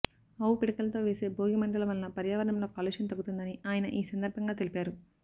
ఆవు పిడకలతో వేసే భోగి మంటల వలన పర్యావరణంలో కాలుష్యం తగ్గుతుందని ఆయన ఈ సందర్భంగా తెలిపారు